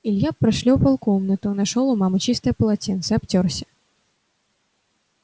илья прошлёпал комнату а нашёл у мамы чистое полотенце обтёрся